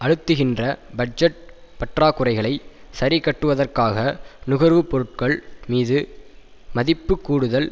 அழுத்துகின்ற budget பற்றாக்குறைகளை சரிக்கட்டுவதற்காக நுகருபொருட்கள் மீது மதிப்பு கூடுதல்